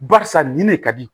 Barisa nin ne ka di